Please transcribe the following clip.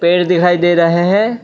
पेड़ दिखाई दे रहा है।